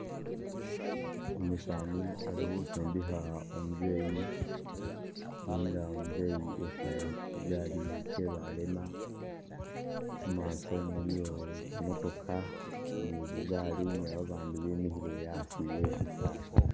Umusaani ali khusindikha umuzeyi nenga umuzeyi ekhale khushigari she balema mumaaso muliyo zimotoka ni bugari ne babandi bimikhile asi we shisala.